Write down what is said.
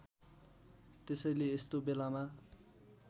त्यसैले यस्तो बेलामा